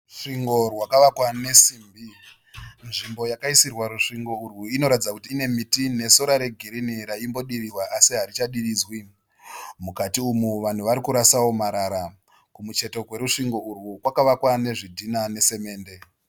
Rusvingo rwakavakwa nesimbi. Nzvimbo yakaisirwa rusvingo urwu inoratidza kuti ine miti nesora regirini raimbodirihwa asi harichadiridzwi. Mukati umu vanhu vari kurasawo marara. Kumucheto kwerusvingo urwu kwakavakwa nezvidhina nesimende.